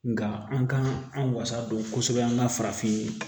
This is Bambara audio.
Nga an ka an wasa don kosɛbɛ an ka farafin